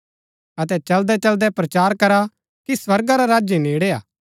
अतै चलदै चलदै प्रचार करा कि स्वर्गा रा राज्य नेड़ै हा